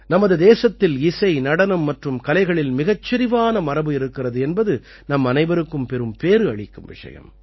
நமது தேசத்தில் இசை நடனம் மற்றும் கலைகளில் மிகச் செரிவான மரபு இருக்கிறது என்பது நம்மனைவருக்கும் பெரும் பேறு அளிக்கும் விஷயம்